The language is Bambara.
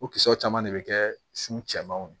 O kisɛw caman de bɛ kɛ sun cɛmanw ye